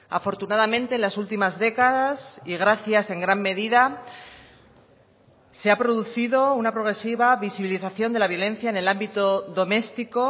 afortunadamente en las últimas décadas y gracias en gran medida se ha producido una progresiva visibilización de la violencia en el ámbito doméstico